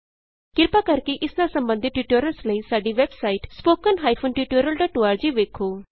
ਕ੍ਰਿਪਾ ਕਰਕੇ ਇਸ ਨਾਲ ਸਬੰਧਤ ਟਯੂਟੋਰਿਅਲਸ ਲਈ ਸਾਡੀ ਵੈਬਸਾਈਟ httpspoken tutorialorg ਵੇਖੋ